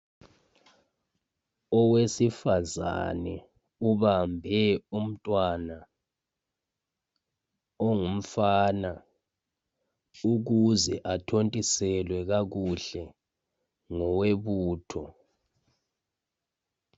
Owesifazane ubambe umntwana ongumfana ukuze athontiselwe kakuhle ngowebutho.